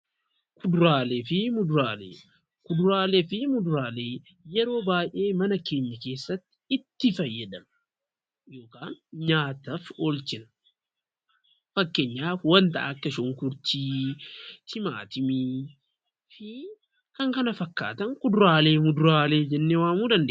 Kuduraalee fi muduraalee; Kuduraalee fi muduraalee yeroo baay'ee mana keenya keessatti itti fayyadamna; yookaan nyaataaf oolchina. Fakkeenyaaf wanta akka shunkurtii, timaatimii fi kan kana fakkaatan kuduraaleefi muduraalee jennee waamuu dandeenya.